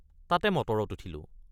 তাতে মটৰত উঠিলোঁ।